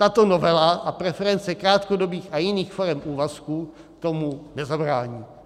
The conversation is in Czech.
Tato novela a preference krátkodobých a jiných forem úvazků tomu nezabrání.